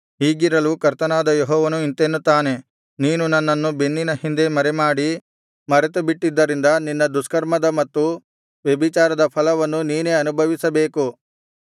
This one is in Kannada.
ಹೀಗಿರಲು ಕರ್ತನಾದ ಯೆಹೋವನು ಇಂತೆನ್ನುತ್ತಾನೆ ನೀನು ನನ್ನನ್ನು ಬೆನ್ನಿನ ಹಿಂದೆ ಮರೆಮಾಡಿ ಮರೆತುಬಿಟ್ಟಿದ್ದರಿಂದ ನಿನ್ನ ದುಷ್ಕರ್ಮದ ಮತ್ತು ವ್ಯಭಿಚಾರದ ಫಲವನ್ನು ನೀನೇ ಅನುಭವಿಸಬೇಕು